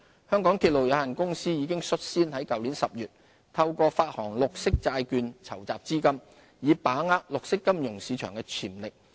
香港鐵路有限公司已率先在去年10月透過發行綠色債券籌集資金，以把握綠色金融市場的潛力。